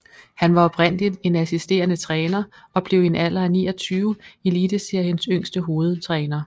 Han var oprindeligt en assisterende træner og blev i en alder af 29 Eliteseriens yngste hovedtræner